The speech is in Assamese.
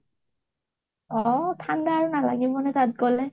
অʼ ঠাণ্ডা আৰু নালাগিবনে তাত গলে।